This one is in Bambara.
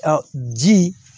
ji